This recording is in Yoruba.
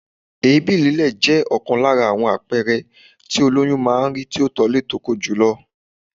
Èébì lílé jẹ́ ọ̀kan lára àwọn àpẹẹrẹ tí ólóyún máa ń rí tí ó tólé tóko jùlọ.